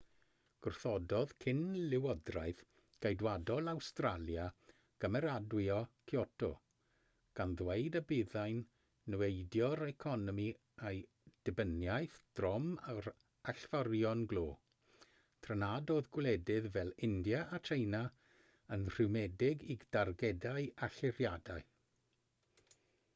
gwrthododd cyn-lywodraeth geidwadol awstralia gymeradwyo kyoto gan ddweud y byddai'n niweidio'r economi a'i dibyniaeth drom ar allforion glo tra nad oedd gwledydd fel india a tsieina yn rhwymedig i dargedau allyriadau